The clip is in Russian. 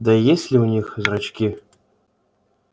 да и есть ли у них зрачки